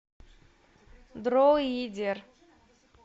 дроидер